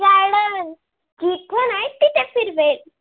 फिरवेल.